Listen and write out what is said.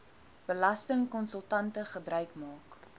belastingkonsultante gebruik maak